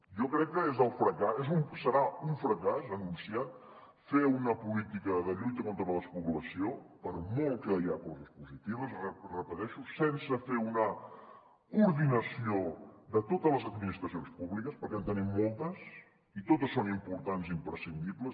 jo crec que serà un fracàs anunciat fer una política de lluita contra la despoblació per molt que hi ha coses positives ho repeteixo sense fer una coordinació de totes les administracions públiques perquè en tenim moltes i totes són importants i imprescindibles